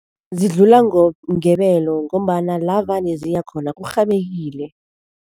Zidlula ngebelo ngombana la vane ziya khona kurhabekile.